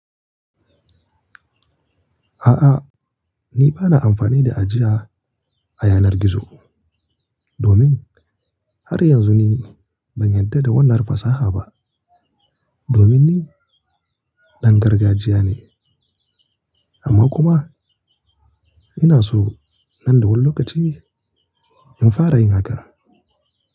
A'a, ni ba na amfani da ajiya a yanar gizo domin har yanzu ni ban yarda da wannan fasaha ba domin ni ɗan gargajiya ne. Amma kuma ina so nan da wani lokaci in fara yin haka.